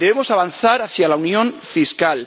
Debemos avanzar hacia la unión fiscal.